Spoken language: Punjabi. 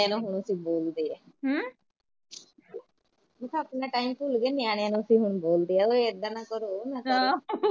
ਮੈਂ ਕਿਆ ਆਪਣਾ ਟਾਈਮ ਅਸੀਂ ਭੁੱਲ ਗੇ ਨਿਆਣਿਆ ਨੂੰ ਹੁਣ ਅਸੀਂ ਬੋਲਦੇ ਐ ਓਏ ਏਦਾਂ ਹਾਂ ਨਾ ਕਰੋ, ਓਏ ਨਾ ਕਰੋ, ਨਿਆਣਿਆ ਨੂੰ ਹੁਣ ਅਸੀਂ ਬੋਲਦੇ ਐ